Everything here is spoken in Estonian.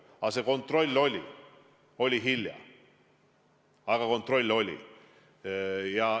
Aga see kontroll oli – oli küll hiljem, aga kontroll oli.